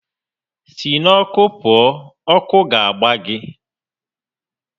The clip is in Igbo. Si n'ọkụ pụọ! Ọkụ ga-agba gị!